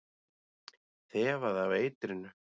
Þefaði af eitrinu.